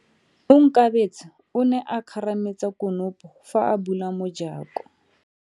Onkabetse o ne a kgarametsa konopo fa a bula mojako.